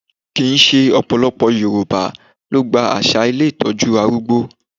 Kì ń ṣe ọ̀pọ̀lọpọ̀ Yorùbá ló gba àṣà ilé Ìtọ́jú arúgbó.